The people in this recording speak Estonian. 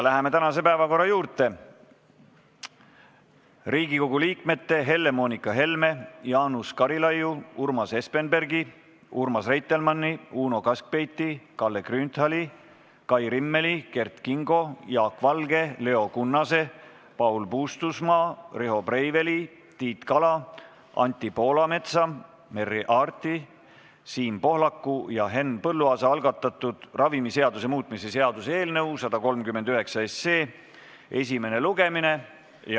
Läheme tänase päevakorra juurde: Riigikogu liikmete Helle-Moonika Helme, Jaanus Karilaidi, Urmas Espenbergi, Urmas Reitelmanni, Uno Kaskpeiti, Kalle Grünthali, Kai Rimmeli, Kert Kingo, Jaak Valge, Leo Kunnase, Paul Puustusmaa, Riho Breiveli, Tiit Kala, Anti Poolametsa, Merry Aarti, Siim Pohlaku ja Henn Põlluaasa algatatud ravimiseaduse muutmise seaduse eelnõu 139 esimene lugemine.